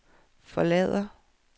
forlader